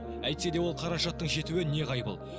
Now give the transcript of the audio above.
әйтсе де ол қаражаттың жетуі неғайбыл